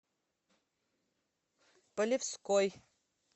полевской